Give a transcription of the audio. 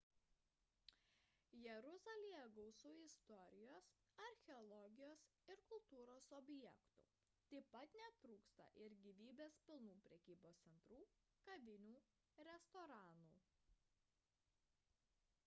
jeruzalėje gausu istorijos archeologijos ir kultūros objektų taip pat netrūksta gyvybės pilnų prekybos centrų kavinių restoranų